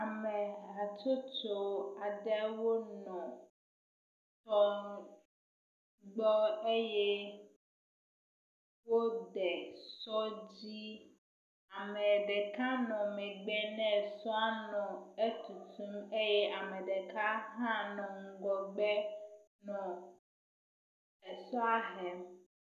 Ame hatsotso aɖewo nɔ kplɔ gbɔ eye wode sɔ dzi ame ɖeka nɔ megbe ne sɔa nɔ eku eye ame ɖeka hã nɔ ŋgɔgbe nɔ esɔa hem.